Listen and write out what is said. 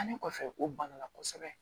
Ne kɔfɛ o banna kosɛbɛ